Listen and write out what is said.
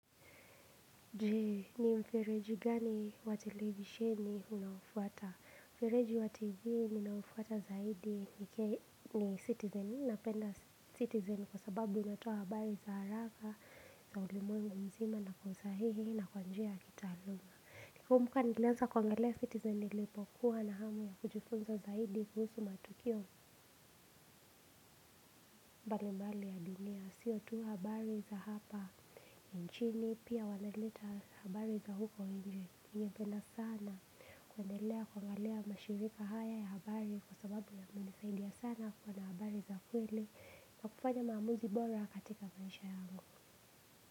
Je ni mfereji gani wa televisheni unaofuata mfereji wa tv ninaofuata zaidi ni citizen napenda citizen kwa sababu unatoa habari za haraka za ulimwengu mzima na kuzahihi na kwa njia ya kitaaluma. Nakumbuka nilanza kuangalia citizen nilipokuwa na hamu ya kujifunza zaidi kuhusu matukio mbalimbali ya dunia. Sio tu habari za hapa nchini pia wanaleta habari za huko nje ninapenda sana. Kuendelea kuangalia mashirika haya ya habari kwa sababu ya kunisaidia sana kuwa na habari za kweli na kufanya mamuzi bora katika maisha yangu.